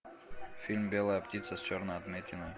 фильм белая птица с черной отметиной